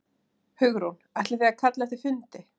Hugrún: Ætlið þið að kalla eftir fundi?